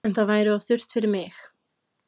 En það væri of þurrt fyrir mig